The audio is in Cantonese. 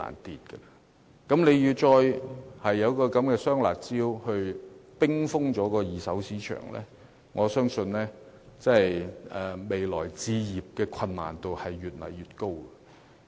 如果政府再推出"雙辣招"遏抑二手市場，我相信未來置業的難度會越來越高。